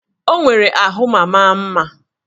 Ọ nwere ahụ ma maa mma